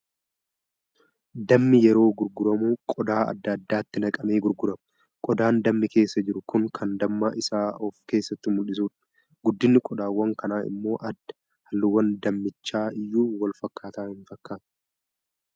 Dammi yeroo gurguramu qodaa adda addaatti naqamee gurgurama. Qodaan dammi keessa jiru kun kan damma isaa of keessatti mul'isudha. Guddinni qodaawwan kanaa immoo adda. Halluun dammichaa iyyuu wal fakkaataa hin fakkaatu.